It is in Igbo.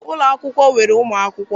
Ụlọ akwụkwọ nwere ụmụ akwụkwọ.